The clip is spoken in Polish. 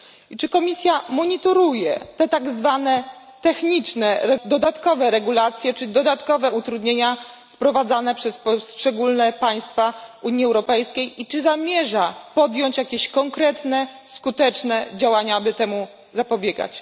Czy Komisja monitoruje tak zwane techniczne, dodatkowe regulacje czy dodatkowe utrudnienia wprowadzane przez poszczególne państwa Unii Europejskiej i czy zamierza podjąć jakieś konkretne skuteczne działania, aby temu zapobiegać?